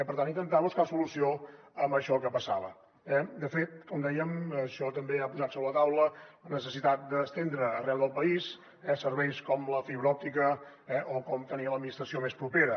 per tant intentar buscar solució a això que passava eh de fet com dèiem això també ha posat sobre la taula la necessitat d’estendre arreu del país serveis com la fibra òptica o com tenir l’administració més propera